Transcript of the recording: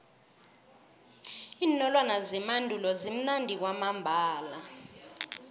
iinolwana zemandulo zimnandi kwamambala